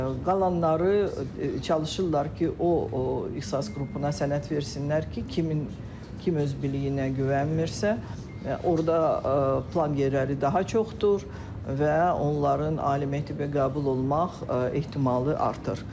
Qalanları çalışırlar ki, o ixtisas qrupuna sənəd versinlər ki, kim öz biliyinə güvənmirsə, orda plan yerləri daha çoxdur və onların ali məktəbə qəbul olmaq ehtimalı artır.